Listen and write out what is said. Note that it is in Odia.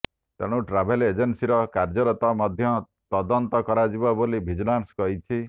ତେଣୁ ଟ୍ରାଭେଲ ଏଜେନ୍ସୀର କାର୍ଯ୍ୟର ମଧ୍ୟ ତଦନ୍ତ କରାଯିବ ବୋଲି ଭିଜିଲାନ୍ସ କହିଛି